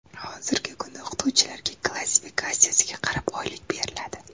Hozirgi kunda o‘qituvchilarga klassifikatsiyasiga qarab oylik beriladi.